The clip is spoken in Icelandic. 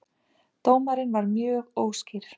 Dómarinn var mjög óskýr